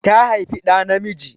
Ta haifi ɗa namiji.